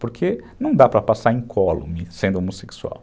Porque não dá para passar incólume sendo homossexual.